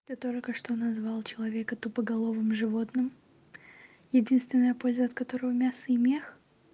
ты только что назвал человека тупоголовым животным единственная польза от которого мясо и мех